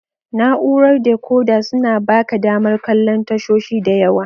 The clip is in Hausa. Na'urar dekoda suna baka damar kallon tashoshi da yawa.